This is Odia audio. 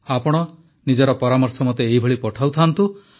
ଆପଣ ନିଜର ପରାମର୍ଶ ମୋତେ ଏଇଭଳି ପଠାଉ ଥାଆନ୍ତୁ